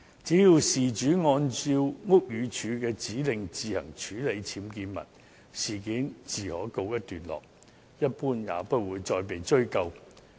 只要事主按照屋宇署的指令自行處理僭建物，事件自可告一段落，一般也不會再被追究。